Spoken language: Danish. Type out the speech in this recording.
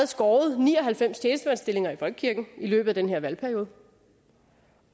skåret ni og halvfems tjenestemandsstillinger i folkekirken i løbet af den her valgperiode